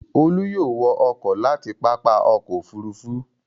Olú yóò wọ ọkọ̀ láti pápá ọkọ̀-òfurufú.